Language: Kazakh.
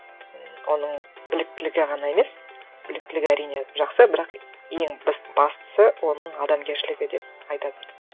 м оның біліктілігі ғана емес біліктілігі әрине жақсы бірақ ең бастысы оның адамгершілігі деп айтатын